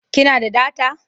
Ki na da data?